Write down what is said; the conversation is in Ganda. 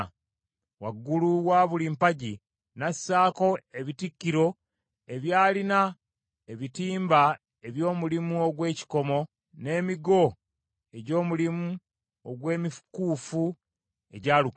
Waggulu wa buli mpagi n’assaako ebitikkiro ebyalina ebitimba eby’omulimu ogw’ekikomo, n’emigo egy’omulimu ogw’emikuufu egyalukibwa.